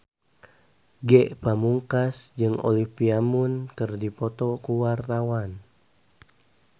Ge Pamungkas jeung Olivia Munn keur dipoto ku wartawan